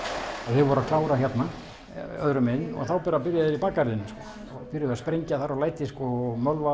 þeir voru að klára hérna öðru megin og þá bara byrjuðu þeir í bakgarðinum byrjuðu að sprengja þar og læti mölva